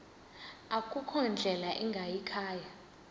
akukho ndlela ingayikhaya